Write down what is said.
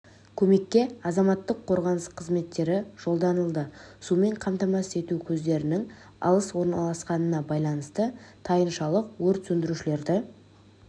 көмекке азаматтық қорғаныс қызметтері жолданылды сумен қамтамасыз ету көздерінің алыс орналасқанына байланысты тайыншалық өрт сөндірушілерді